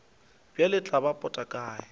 bjale tla ba pota kae